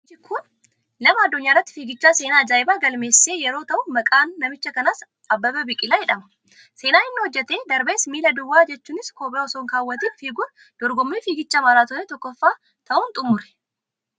Namichi kun nama addunyaarratti fiigichaan seenaa ajaa'ibaa galmeessise yeroo ta'u maqaan namicha kanaas Abbebee Biqilaa jedhama. Seenaan inni hojjetee darbes miila duwwaa jechuunis kophee osoon keewwatiin fiiguun dorgommii fiigicha maaraatoonii 1ffaa ta'uun xumure.